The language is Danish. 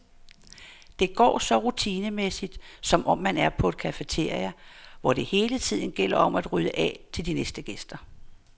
Det går så rutinemæssigt, som om man er på et cafeteria, hvor det hele tiden gælder om at rydde af til de næste gæster.